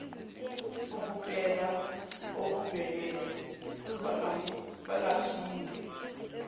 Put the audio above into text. ukupela okuvelele bangaphinde